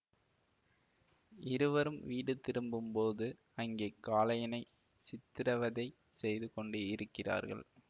இருவரும் வீடு திரும்பும்போது அங்கே காளையனைச் சித்திரவதை செய்து கொண்டு இருக்கிரார்கள்